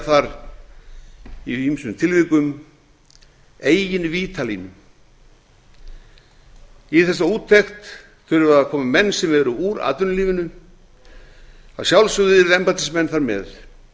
þar í ýmsum tilvikum eigin vítalínu í þessa úttekt þurfa að koma menn sem eru úr atvinnulífinu að sjálfsögðu yrðu embættismenn þar með